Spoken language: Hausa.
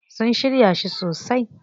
Sun shirya shi sosai.